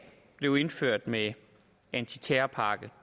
blev indført med antiterrorpakke